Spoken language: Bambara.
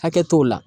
Hakɛ t'o la